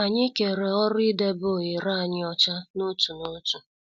Anyị kere ọrụ idebe ohere anyị ọcha n'otu n'otu.